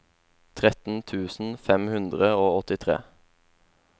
tretten tusen fem hundre og åttitre